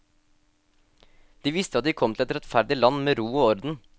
De visste at de kom til et rettferdig land med ro og orden.